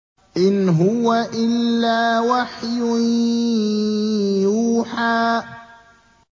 إِنْ هُوَ إِلَّا وَحْيٌ يُوحَىٰ